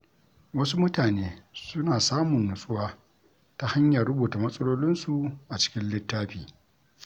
Wasu mutane suna samun nutsuwa ta hanyar rubuta matsalolinsu a cikin littafi.